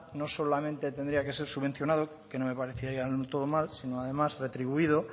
no solamente tendría que ser subvencionado que no me parecería del todo mal sino que además retribuido